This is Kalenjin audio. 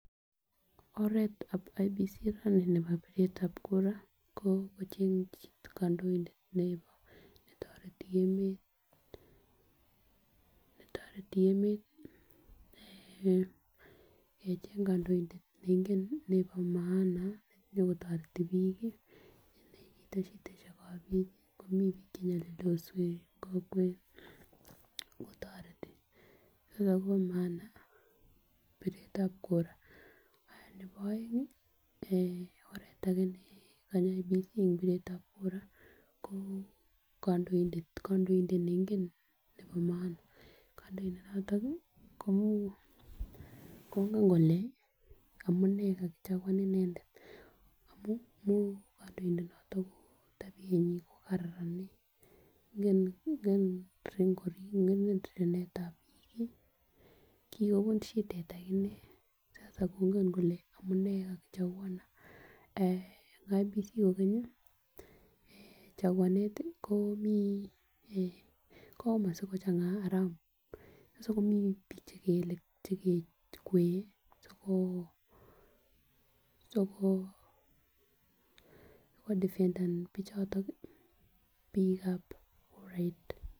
Oretan IEBC rani nebo piretab kura ko kocheng chii kondoidet nebo netoreti emet netoreti emet eeh kecheng kondoindet neingen nebo maana nyokotoretin bik kii ndeite korikab bik komii bik chenyolildos wee en kokwet kotoreti Kobo maana piretab kuraa nebo oengi eeh oret age ne konye bik ek piretab kuraa ko kondoidet, kondoidet neingen nebo maana kondoidet noton ko kongen kole amunee kakichakwan inendet amun moo kondoidonoton tabiyenyin ko Karan nii nken nken korib nken rirenetab bik kikobun shidet akinee sasa kongen kole amunee kakichekuanan. Eeh en IEBC kokenyi chakuanet ko mii eeh kikomach sikochanga aram nyosin komii bik chekele chekekere siko koo sikoo ko defenden bichoton nii bikaab kurait.